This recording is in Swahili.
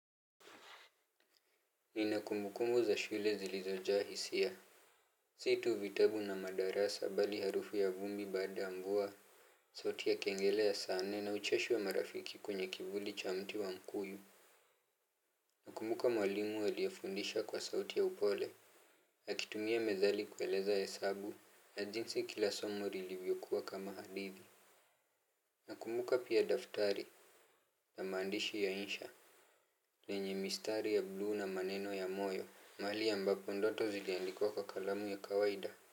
Nina kumbukumbu za shule zilizojaa hisia si tu vitabu na madarasa bali harufu ya vumbi baada ya mvua sauti ya kengele ya saa nne na ucheshi wa marafiki kwenye kikundi cha mti wa mkuyu. Nakumbuka mwalimu aliye fundisha kwa sauti ya upole akitumia methali kueleza hesabu na jinsi kila somo ilivyokuwa kama hadithi. Nakumbuka pia daftari na maandishi ya insha yenye mistari ya bulu na maneno ya moyo mahali ambapo ndoto ziliandikwa kwa kalamu ya kawaida.